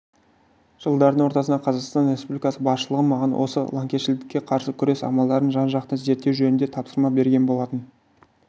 жылдардың ортасында қазақстан республикасы басшылығы маған осы лаңкесшілдікке қарсы күрес амалдарын жан-жақты зерттеу жөнінде тапсырма берген болатын